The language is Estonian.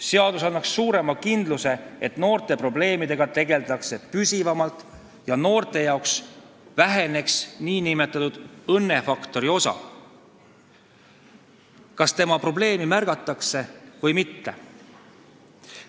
Seadus annaks suurema kindluse, et noorte probleemidega tegeldakse püsivamalt ja noorte jaoks väheneks nn õnnefaktori osa, kas ta probleemi märgatakse või mitte.